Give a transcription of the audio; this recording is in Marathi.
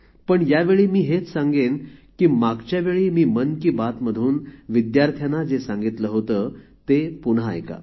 पण यावेळी मी हेच सांगेन की मागच्या वेळी मी मन की बात मधून विद्यार्थ्यांना जे सांगितले होते ते पुन्हा ऐका